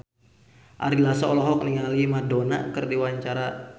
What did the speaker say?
Ari Lasso olohok ningali Madonna keur diwawancara